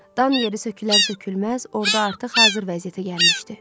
Dan yeri sökülər-sökülməz, orda artıq hazır vəziyyətə gəlmişdi.